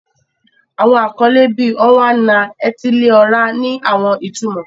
Awọn akọle, bii Onwa-na-etili-ora, ni awọn itumọ.